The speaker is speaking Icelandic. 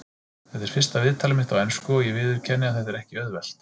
Þetta er fyrsta viðtalið mitt á ensku og ég viðurkenni að þetta er ekki auðvelt.